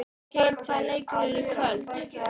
Geir, hvaða leikir eru í kvöld?